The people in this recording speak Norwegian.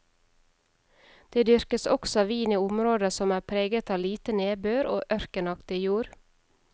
Det dyrkes også vin i områder som er preget av lite nedbør og ørkenaktig jord.